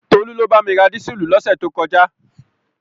Tolú ló bá mi ra dísùlù lọ́sẹ̀ tó kọjá.